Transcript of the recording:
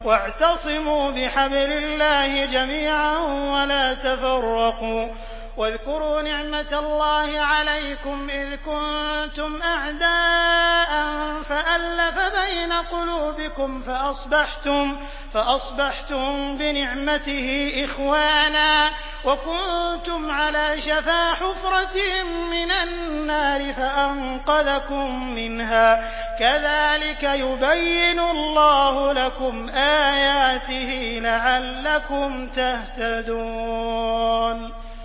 وَاعْتَصِمُوا بِحَبْلِ اللَّهِ جَمِيعًا وَلَا تَفَرَّقُوا ۚ وَاذْكُرُوا نِعْمَتَ اللَّهِ عَلَيْكُمْ إِذْ كُنتُمْ أَعْدَاءً فَأَلَّفَ بَيْنَ قُلُوبِكُمْ فَأَصْبَحْتُم بِنِعْمَتِهِ إِخْوَانًا وَكُنتُمْ عَلَىٰ شَفَا حُفْرَةٍ مِّنَ النَّارِ فَأَنقَذَكُم مِّنْهَا ۗ كَذَٰلِكَ يُبَيِّنُ اللَّهُ لَكُمْ آيَاتِهِ لَعَلَّكُمْ تَهْتَدُونَ